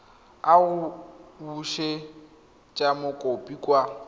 a go busetsa mokopi kwa